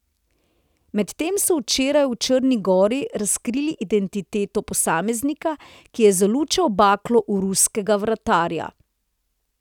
Medtem so včeraj v Črni gori razkrili identiteto posameznika, ki je zalučal baklo v ruskega vratarja.